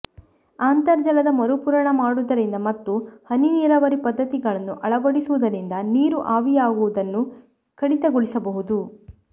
ಅಂತರ್ಜಲದ ಮರುಪೂರಣ ಮಾಡುವುದರಿಂದ ಮತ್ತು ಹನಿ ನೀರಾವರಿ ಪದ್ಧತಿಗಳನ್ನು ಅಳವಡಿಸುವುದರಿಂದ ನೀರು ಆವಿಯಾಗುವುದನ್ನು ಕಡಿತಗೊಳಿಸಬಹುದು